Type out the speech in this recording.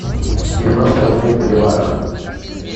девяносто рублей в боливарах